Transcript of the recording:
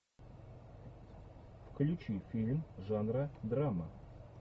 включи фильм жанра драма